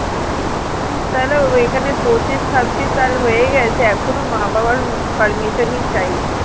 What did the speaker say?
উম তাহলে ঐখানে পঁচিশ ছাব্বিশ সাল হয়ে গেছে এখনো মা বাবার permission ই চাই